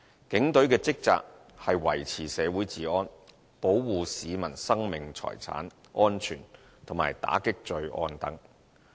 警隊的職責是維持社會治安，保護市民生命財產安全，以及打擊罪案等。